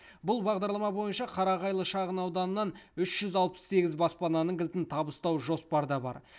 бұл бағдарлама бойынша қарағайлы шағын ауданынан үш жүз алпыс сегіз баспананың кілтін табыстау жоспарда бар